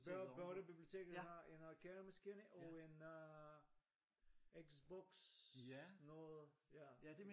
Børnebiblioteket har en arkademaskine og en øh Xbox noget ja